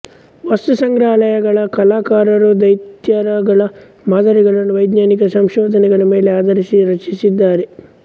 ವಸ್ತುಸಂಗ್ರಹಾಲಯಗಳ ಕಲಾಕಾರರು ದೈತ್ಯೋರಗಗಳ ಮಾದರಿಗಳನ್ನು ವೈಜ್ಞಾನಿಕ ಸಂಶೋಧನೆಗಳ ಮೇಲೆ ಆಧರಿಸಿ ರಚಿಸಿದ್ದಾರೆ